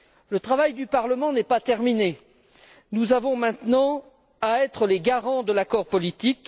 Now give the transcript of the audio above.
Le travail du Parlement n'est pas terminé nous avons maintenant à être les garants de l'accord politique.